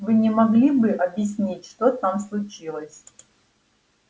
вы не могли бы объяснить что там случилось